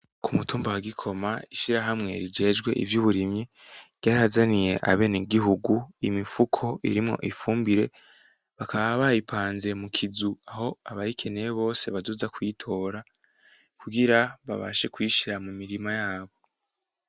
Umutumba wagikoma ishirahamwe vyejwe ivyuburimyi ryahazaniye abenegihugu imifuko irimo ifumbire bakaba bayipanze mukizu aho abayikeneye bose bazoza kuyitora kugira babashe kuyishira mumirima yabo.